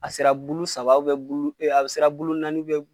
A sera bulu saba bulu ee,a sera bulu naani